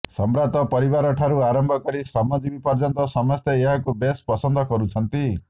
ସମ୍ଭ୍ରାନ୍ତ ପରିବାର ଠାରୁ ଆରମ୍ଭ କରି ଶ୍ରମଜୀବୀ ପର୍ଯ୍ୟନ୍ତ ସମସ୍ତେ ଏହାକୁ ବେଶ ପସନ୍ଦ କରୁଛନ୍ତି